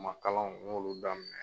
ma kalanw n y'olu daminɛ